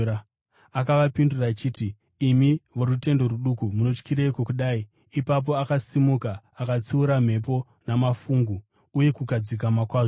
Akavapindura achiti, “Imi vorutendo ruduku, munotyireiko kudai?” Ipapo akasimuka akatsiura mhepo namafungu uye kukadzikama kwazvo.